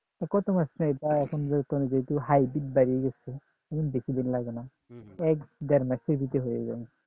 কত মাস চাই আহ এখন যেহেতু hybrid বেরিয়ে গেছে এই দেড় মাসের ভিতরে হয়ে যায়